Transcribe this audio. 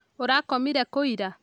Ũrakomire kũira?